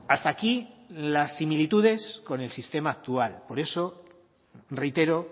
hasta aquí las similitudes con el sistema actual por eso reitero